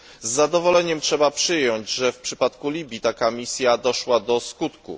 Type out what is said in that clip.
Z zadowoleniem należy przyjąć, że w przypadku Libii taka misja doszła do skutku.